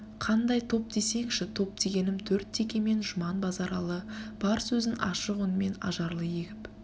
қандай топ десеңші топ дегенім төрт теке мен жұман базаралы бар сөзін ашық үнмен ажарлы егіп